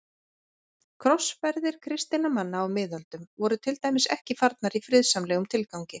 Krossferðir kristinna manna á miðöldum voru til dæmis ekki farnar í friðsamlegum tilgangi.